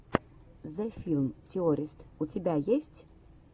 зе филм теористс у тебя есть